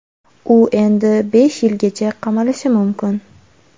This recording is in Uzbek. U endi besh yilgacha qamalishi mumkin.